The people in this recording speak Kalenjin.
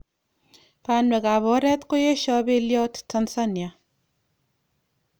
Banweek kap oret koyesho belyot Tanzania.